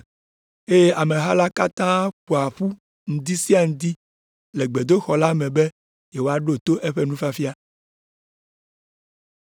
eye ameha la katã ƒoa ƒu ŋdi sia ŋdi le gbedoxɔ la me be yewoaɖo to eƒe nufiafia.